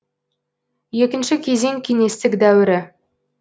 екінші кезең кеңестік дәуірі